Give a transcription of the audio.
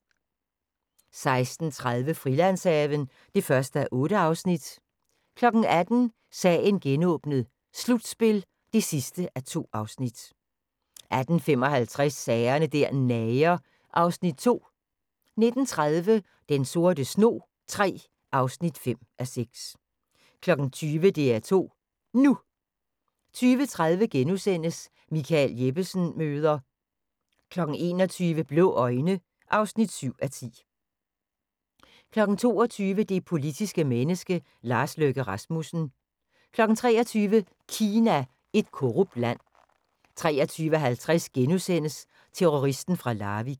16:30: Frilandshaven (1:8) 18:00: Sagen genåbnet: Slutspil (2:2) 18:55: Sager der nager (Afs. 2) 19:30: Den sorte snog III (5:6) 20:00: DR2 NU 20:30: Michael Jeppesen møder ...* 21:00: Blå øjne (7:10) 22:00: Det politiske menneske - Lars Løkke Rasmussen 23:00: Kina – et korrupt land 23:50: Terroristen fra Larvik *